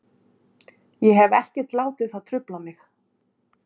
Ég hef ekkert látið það trufla mig.